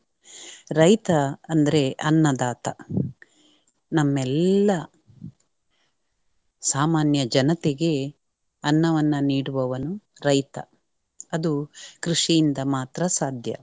ರೈತ ಅಂದ್ರೆ ಅನ್ನದಾತ. ನಮ್ಮೆಲ್ಲಾ ಸಾಮಾನ್ಯ ಜನತೆಗೆ ಅನ್ನವನ್ನು ನೀಡುವವನು ರೈತ ಅದು ಕೃಷಿಯಿಂದ ಮಾತ್ರ ಸಾಧ್ಯ.